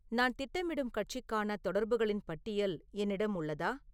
நான் திட்டமிடும் கட்சிக்கான தொடர்புகளின் பட்டியல் என்னிடம் உள்ளதா